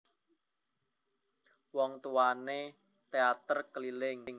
Wong tuwané nduwé téater keliling